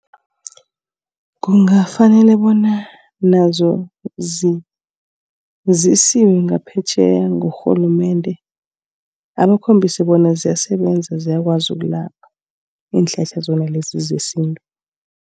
Kungafanele bona nazo zibe zisiwe ngaphetjheya ngurhulumende. Abakhombise bona ziyasebenza ziyakwazi ukulapha iinhlahla zona lezi zesintu.